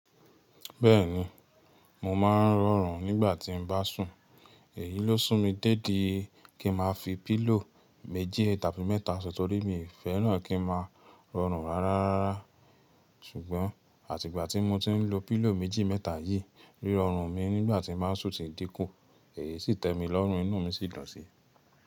Bẹ́ẹ̀ni, mo ma n rọrùn nígbà tí n bá sùn, èyí ló sún mi dé ìdí kí n máa fi pílò méjì tàbí mẹ́ta sùn, torí mi ò fẹ́ràn kí n máa rọrùn rárárárá. Ṣùgbọ́n àtìgbà tí mo ti n lo pílò méjì mẹ́ta yìí, rírọ́ ọrùn mi nígbà tí n ba sùn si dín kù, èyí sì tẹ́mi lọ́rùn inú mi sì dùn si.